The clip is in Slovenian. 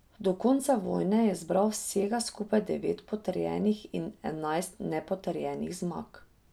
Do konca vojne je zbral vsega skupaj devet potrjenih in enajst nepotrjenih zmag.